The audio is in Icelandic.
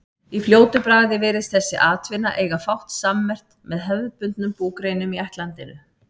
Í fljótu bragði virðist þessi atvinna eiga fátt sammerkt með hefðbundnum búgreinum í ættlandinu.